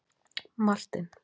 Martin